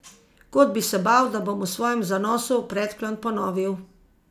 Kot bi se bal, da bom v svojem zanosu predklon ponovil.